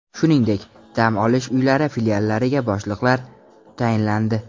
Shuningdek, dam olish uylari filiallariga boshliqlar tayinlandi.